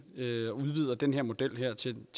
eu udvider den her model til